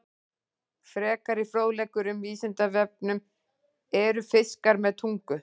Frekari fróðleikur um Vísindavefnum: Eru fiskar með tungu?